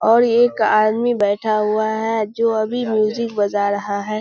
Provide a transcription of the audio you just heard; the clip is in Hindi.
और एक आदमी बैठा हुआ है जो अभी म्यूजिक बजा रहा है।